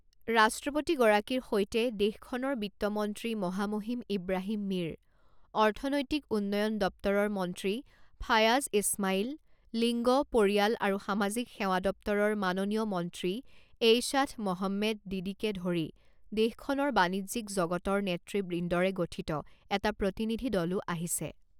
ৰাষ্ট্ৰপতিগৰাকীৰ সৈতে দেশখনৰ বিত্ত মন্ত্ৰী মহামহিম ইব্ৰাহীম মীৰ, অৰ্থনৈতিক উন্নয়ণ দপ্তৰৰ মন্ত্ৰী ফায়াজ ইছমাইল, লিংগ, পৰিয়াল আৰু সামাজিক সেৱা দপ্তৰৰ মাননীয়া মন্ত্ৰী এইশ্বাথ মহম্মেদ দিদিকে ধৰি দেশখনৰ বাণিজ্যিক জগতৰ নেতৃবৃন্দৰে গঠিত এটা প্ৰতিনিধি দলো আহিছে।